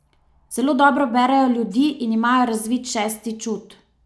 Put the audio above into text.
Zelo dobro berejo ljudi in imajo razvit šesti čut.